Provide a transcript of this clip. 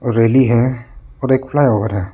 रेली है और एक फ्लाईओवर है।